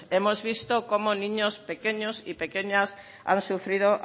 hemos visto cómo niños pequeños y pequeñas han sufrido